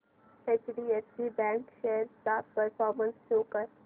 HDFC bank shares चा performance show कर